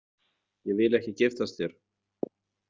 Ég vil ekki giftast þér.